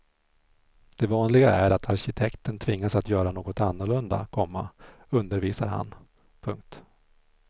Det vanliga är att arkitekten tvingas att göra något annorlunda, komma undervisar han. punkt